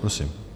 Prosím.